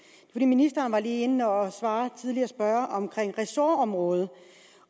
ministeren var lige inde og svare en tidligere spørger om ressortområdet